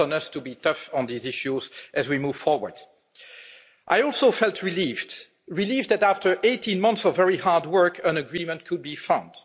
The countdown has to be tough on these issues as we move forward. I also felt relieved relieved that, after 18 months of very hard work, an agreement could be found.